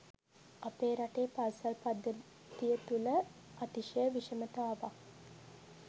අපේ රටේ පාසල් පද්ධතිය තුළ අතිශය විෂමතාවක්